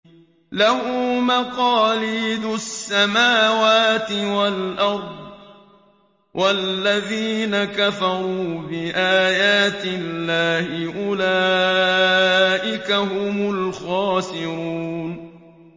لَّهُ مَقَالِيدُ السَّمَاوَاتِ وَالْأَرْضِ ۗ وَالَّذِينَ كَفَرُوا بِآيَاتِ اللَّهِ أُولَٰئِكَ هُمُ الْخَاسِرُونَ